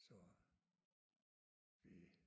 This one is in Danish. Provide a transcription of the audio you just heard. Så vi